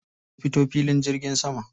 Na fito filin jirgin sama.